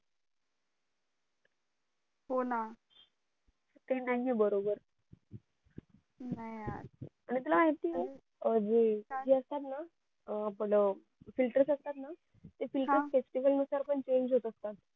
हो ना ते नाही आहे बरोबर नाही यार आणि तुला माहिती ये हे जे असतात ना आपलं filter असतात ना ते filterfestival नुसार पण change होत असतात